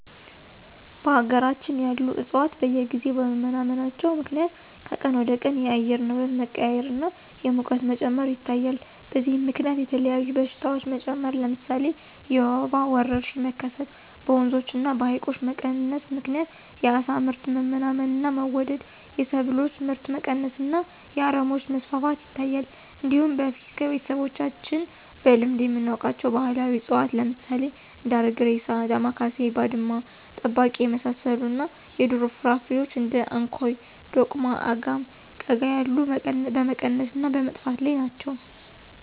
በሀገራችን ያሉ ዕፅዋት በየጊዜው በመመናመናቸው ምክንያት ከቀን ወደቀን የአየር ንብረት መቀያየር እና የሙቀት መጨመር ይታያል። በዚህም ምከንያት የተለያዩ በሽታዎች መጨመር ለምሳሌ የወባ ወረርሽኝ መከሰት፣ በወንዞች እና በሀይቆች መቀነስ ምክንያት የአሳ ምርት መመናመን እና መወደድ፣ የሰብሎች ምርት መቀነስ እና የአረሞች መስፋፋት ይታያል። እንዲሁም በፊት ከቤተሰቦቻችን በልምድ የምናውቃቸው ባህላዊ እፅዋት ለምሳሌ እንደ አረግሬሳ፣ ዳማካሴ፣ ባድማ ጠባቂ የመሳሰሉት እና የዱር ፍራፍሬዎች እንደ እንኮይ፣ ዶቅማ፣ አጋም፣ ቀጋ ያሉት በመቀነስ እና በመጥፋት ላይ ናቸው።